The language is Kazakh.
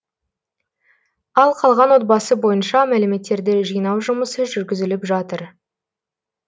ал қалған отбасы бойынша мәліметтерді жинау жұмысы жүргізіліп жатыр